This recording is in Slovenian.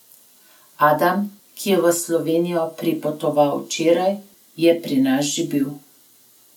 Adam, ki je v Slovenijo pripotoval včeraj, je pri nas že bil.